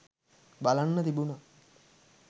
බලන්න තිබුනා